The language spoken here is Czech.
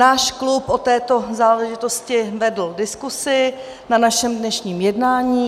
Náš klub o této záležitosti vedl diskuzi na našem dnešním jednání.